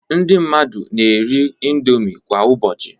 Ndị mmadụ na-eri indomi kwa ụbọchị